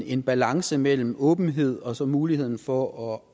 en balance mellem åbenhed og så muligheden for at